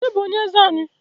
Onye bụ onye eze anyị?